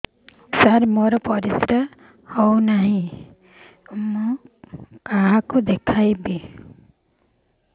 ସାର ମୋର ପରିସ୍ରା ଯାଉନି କଣ କରିବି କାହାକୁ ଦେଖେଇବି